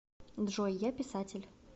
джой я писатель